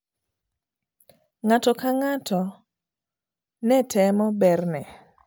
Ng'ato ka ng'ato ne temo berne.